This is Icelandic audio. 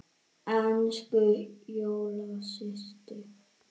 Elsku Dóra systir.